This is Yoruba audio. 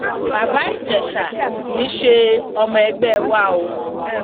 bàbá ìjẹsà kì í ṣe ọmọ ẹgbẹ wa o